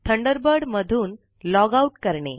Thunderbird मधून log out करणे